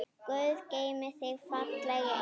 Guð geymi þig, fallegi engill.